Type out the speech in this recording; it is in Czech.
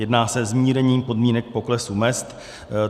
Jedná se o zmírnění podmínek poklesu mezd.